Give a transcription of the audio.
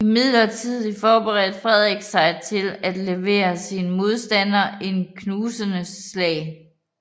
Imidlertid forberedte Frederik sig til at levere sine modstandere et knusende slag